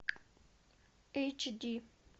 эйч ди